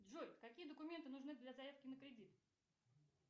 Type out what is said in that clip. джой какие документы нужны для заявки на кредит